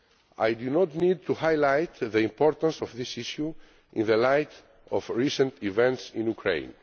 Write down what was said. I do not need to highlight the importance of this issue in the light of recent events in Ukraine.